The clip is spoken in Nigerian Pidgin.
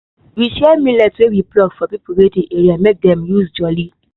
we share millet wey we pluck for people wey dey area may dem for use jolly